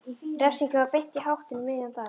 Refsingin var beint í háttinn um miðjan dag.